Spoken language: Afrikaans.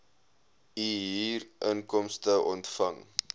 u huurinkomste ontvang